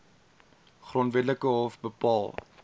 grondwetlike hof bepaal